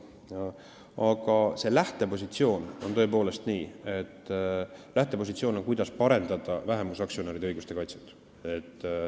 Aga lähtepositsioon on tõepoolest see, kuidas parendada vähemusaktsionäride õiguste kaitset.